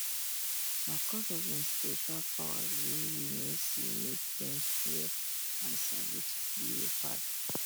nah coz of hin spiritual power way we no see make dem fear and salute leopard